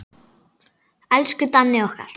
Elsku Danni okkar.